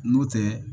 N'o tɛ